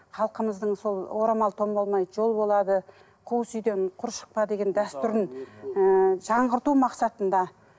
халқымыздың сол орамал тон болмайды жол болады қуыс үйден құр шықпа деген дәстүрін ііі жаңғырту мақсатында